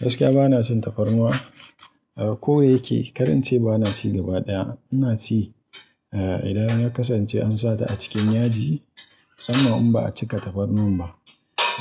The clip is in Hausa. Gaskiya ba na cin tafarnuwa. Ko da yake kar in ce ba na ci gaba ɗaya. Ina ci idan ya kasance an sa ta a cikin yaji sannan in ba a cika tafarnuwan ba